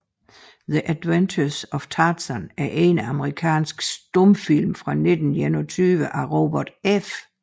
The Adventures of Tarzan er en amerikansk stumfilm fra 1921 af Robert F